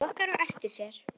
Hann lokar á eftir sér.